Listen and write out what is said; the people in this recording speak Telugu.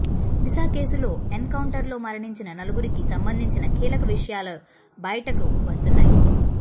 దిశ కేసులో ఎన్ కౌంటర్లో మరణించిన నలుగురికి సంబంధించిన కీలక విషయాలు బయటకు వస్తున్నాయి